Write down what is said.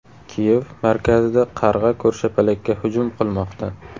Kiyev markazida qarg‘a ko‘rshapalakka hujum qilmoqda.